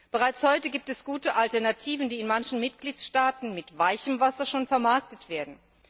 Bereits heute gibt es gute Alternativen, die in manchen Mitgliedstaaten mit weichem Wasser schon vermarktet werden.